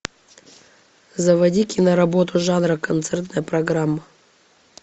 заводи киноработу жанра концертная программа